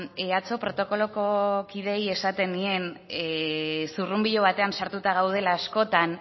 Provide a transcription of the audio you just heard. atzo protokoloko kideei esaten nien zurrunbilo batean sartuta gaudela askotan